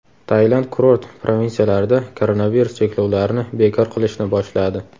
Tailand kurort provinsiyalarida koronavirus cheklovlarini bekor qilishni boshladi.